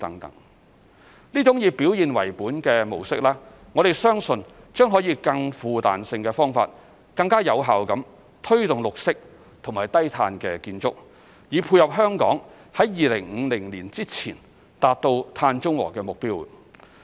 這種以表現為本的模式，我們相信將可以更富彈性的方法，更有效地推動綠色和低碳建築，以配合香港在2050年前達至碳中和的目標。